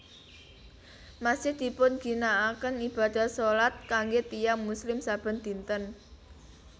Masjid dipun ginakaken ibadah shalat kanggé tiyang muslim saben dinten